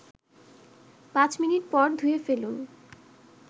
৫ minute পর ধুয়ে ফেলুন